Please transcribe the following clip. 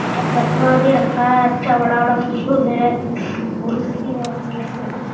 चस्मा भी रखा है अच्छा बड़ा वाला फूल है।